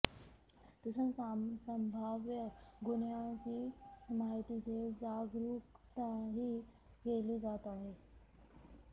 तसंच संभाव्य गुन्ह्याची माहिती देत जागरूकताही केली जात आहे